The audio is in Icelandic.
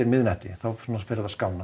miðnætti svo fer það að skána